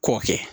K'o kɛ